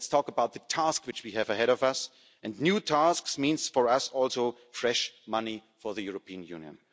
on. Let's talk about the task which we have ahead of us and new tasks means for us also fresh money for the European Union.